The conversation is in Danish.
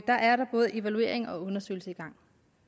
der er der både evaluering og undersøgelse i gang